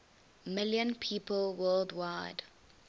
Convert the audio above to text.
million people worldwide